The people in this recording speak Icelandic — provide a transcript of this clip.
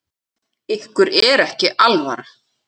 Ykkur er ekki alvara!